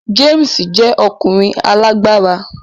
James jẹ́ ọkùnrin alágbára